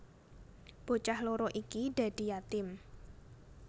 Bocah loro iki dadi yatim